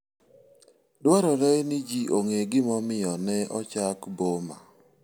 Dwarore ni ji ong'e gimomiyo ne ochak boma.